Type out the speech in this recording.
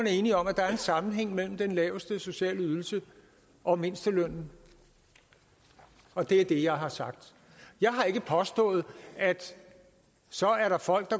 enige om at der er en sammenhæng mellem den laveste sociale ydelse og mindstelønnen og det er det jeg har sagt jeg har ikke påstået at så er der folk